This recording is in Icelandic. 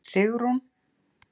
Sigrún